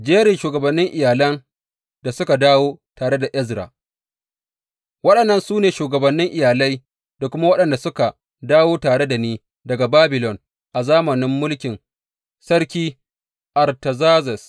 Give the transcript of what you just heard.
Jerin shugabannin iyalan da suka dawo tare da Ezra Waɗannan su ne shugabannin iyalai, da kuma waɗanda suka dawo tare da ni daga Babilon a zamanin mulkin Sarki Artazerzes.